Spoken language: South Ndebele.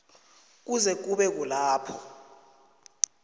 kuze kube kulapho